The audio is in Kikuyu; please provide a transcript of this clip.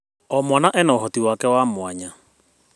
O mwana ena ũhoti wake wa mwanya.